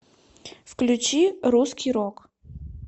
включи русский рок